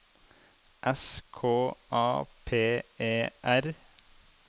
S K A P E R